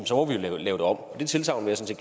så må vi jo lave det om og det tilsagn vil jeg